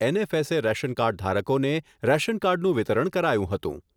NFSA ration card ધારકોને રેશનકાર્ડનું વિતરણ કરાયું હતું